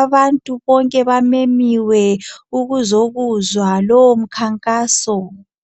Abantu bonke bamenyiwe ukuzokuzwa lowo mkhankaso.